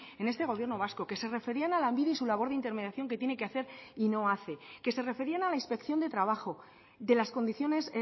en este gobierno vasco que se referían a lanbide y su labor de intermediación que tiene que hacer y no hace que se referían a la inspección de trabajo de las condiciones